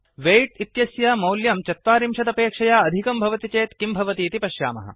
weight इत्यस्य मौल्यं चत्वारिंशदपेक्षया अधिकं भवति चेत् किं भवतीति पश्यामः